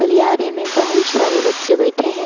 गलियारे में बहुत सारे बच्चे बैठे है।